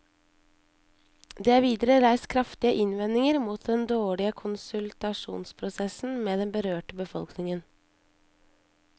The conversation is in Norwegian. Det er videre reist kraftige innvendinger mot den dårlige konsultasjonsprosessen med den berørte befolkningen.